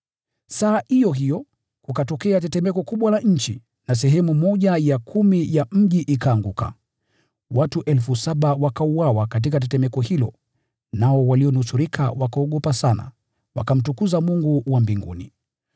Saa iyo hiyo, kukatokea tetemeko kubwa la nchi na sehemu ya kumi ya mji ikaanguka. Watu elfu saba wakauawa katika tetemeko hilo, nao walionusurika wakaogopa sana, wakamtukuza Mungu wa mbinguni.